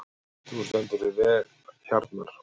Þú stendur þig vel, Hjarnar!